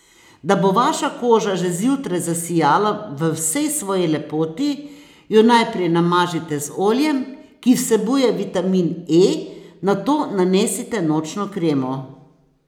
Da bo vaša koža že zjutraj zasijala v vsej svoji lepoti, jo najprej namažite z oljem, ki vsebuje vitamin E, nato nanesite nočno kremo.